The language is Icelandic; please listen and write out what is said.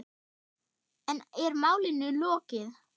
En er málinu lokið?